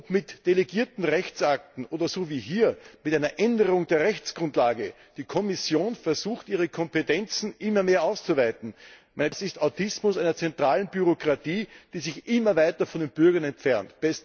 Ob mit delegierten Rechtakten oder so wie hier mit einer Änderung der Rechtsgrundlage, die Kommission versucht, ihre Kompetenzen immer mehr auszuweiten. Das ist Autismus einer zentralen Bürokratie, die sich immer weiter von den Bürgern entfernt!